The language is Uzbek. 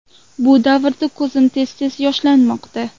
Bu davrda ko‘zim tez tez yoshlanmoqda.